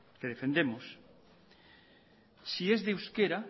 que defendemos si es de euskera